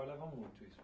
muito isso?